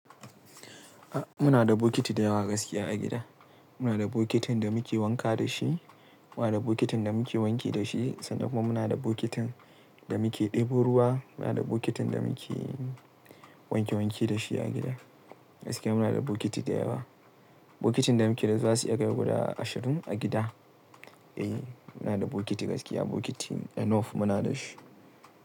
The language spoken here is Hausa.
Muna da bokiti da yawa gaskiya a gida. Muna da bokitin da muke wanka da shi, muna da bokitin da muke wanki da shi sannan kuma muna da bokitin da muke ɗebo ruwa. Muna da bokitin da muke wanke wanke da shi a gida. Gaskiya muna da bokiti da yawa. Bokitin da muke da su zasu iya kai guda ashirin a gida. Eh, muna da bokiti gaskiya bokiti enough muna da shi.